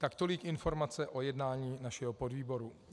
Tak tolik informace o jednání našeho podvýboru.